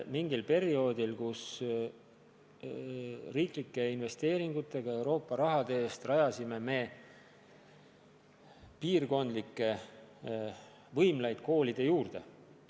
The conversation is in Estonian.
Mingil perioodil me rajasime riiklike investeeringute toel Euroopa raha eest piirkondlikke võimlaid koolide juurde.